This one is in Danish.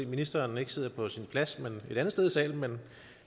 at ministeren ikke sidder på sin plads men et andet sted i salen men